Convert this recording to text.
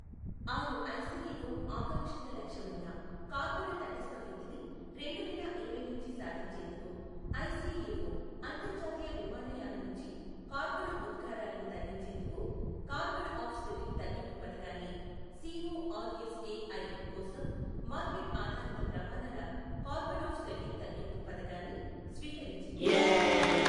ఆరు ఐసిఎఒ ఆకాంక్షిత లక్ష్యమైన కార్బన తటస్త వృద్ధిని రెండు వేల ఇరవై నుంచి సాధించేందుకు, ఐసిఎఒ అంతర్జాతీయ విమానయాన నుంచి కార్బన ఉద్గారాలను తగ్గించేందుకు కార్బన ఆఫ్ సెట్టింగ్ తగ్గింపు పథకాన్ని సిఒఆర్ఎస్ఎఐ కోసం మార్కెట్ ఆధారిత ప్రమాణాల కార్బన్ ఆఫ్ సెట్టింగ్ తగ్గింపు పథకాన్ని స్వీకరించింది.